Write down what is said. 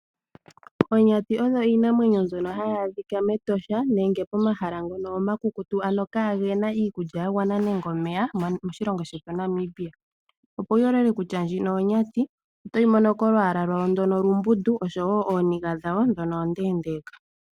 Onyati oyo oshinamwenyo shono hadhi adhika mEtosha National Park nenge momahala ngono omakukutu ano ngono kaagena iikulya yagwana nenge omeya moshilongo shetu Namibia. Opo wuyoolole kutya ndjino onyati otoyi mono kolwaala lwayo ndyono olumbundu oshowoo ooniga dhawo ndhono ondeendeka.